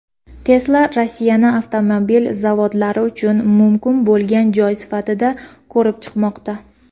Tesla Rossiyani avtomobil zavodlari uchun mumkin bo‘lgan joy sifatida ko‘rib chiqmoqda.